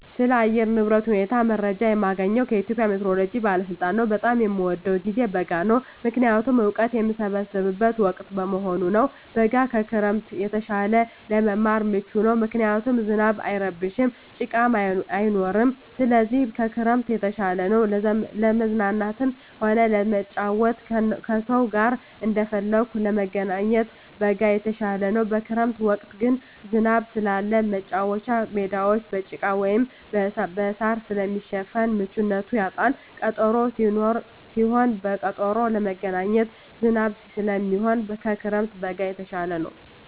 ስለ አየር ንብረት ሁኔታ መረጃ የማገኘዉ ከኢትዮጵያ ሜትሮሎጂ ባለስልጣን ነዉ። በጣም የምወደዉ ጊዜ በጋ ነዉ ምክንያቱም እወቀት የምሰበስብበት ወቅት በመሆኑ ነዉ። በጋ ከክረምት የተሻለ ለመማር ምቹ ነዉ ምክንያቱም ዝናብ አይረብሽም ጭቃም አይኖርም ስለዚህ ከክረምት የተሻለ ነዉ። ለመዝናናትም ሆነ ለመጫወት ከሰዉ ጋር እንደፈለጉ ለመገናኘት በጋ የተሻለ ነዉ። በክረምት ወቅት ግን ዝናብ ስላለ መቻወቻ ሜዳወች በጭቃ ወይም በእሳር ስለሚሸፈን ምቹነቱን ያጣል ቀጠሮም ቢሆን ተቀጣጥሮ ለመገናኘት ዝናብ ስለሚሆን ከክረምት በጋ የተሻለ ነዉ።